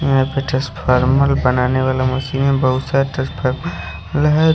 यहां पे ट्रांसफार्मर बनाने वाला मशीन है। बहुत सारे ट्रांसफार्मर लगाये--